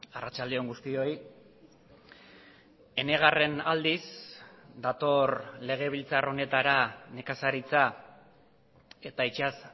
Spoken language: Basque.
arratsalde on guztioi enegarren aldiz dator legebiltzar honetara nekazaritza eta itsas